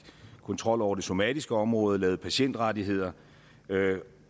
kontrol over det somatiske område og lavede patientrettigheder